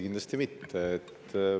Kindlasti mitte.